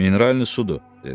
Mineralni sudur, dedi.